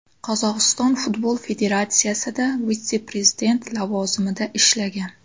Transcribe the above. Qozog‘iston futbol federatsiyasida vitse-prezident lavozimida ishlagan.